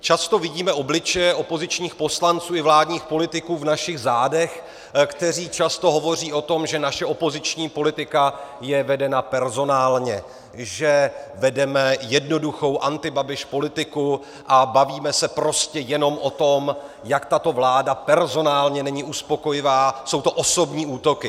Často vidíme obličeje opozičních poslanců i vládních politiků v našich zádech, kteří často hovoří o tom, že naše opoziční politika je vedena personálně, že vedeme jednoduchou antibabiš politiku a bavíme se prostě jenom o tom, jak tato vláda personálně není uspokojivá, jsou to osobní útoky.